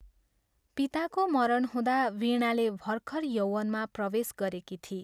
पिताको मरण हुँदा वीणाले भर्खर यौवनमा प्रवेश गरेकी थिई।